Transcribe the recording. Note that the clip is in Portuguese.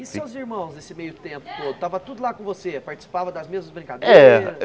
E seus irmãos esse meio tempo todo, tava tudo lá com você, participava das mesmas brincadeiras? É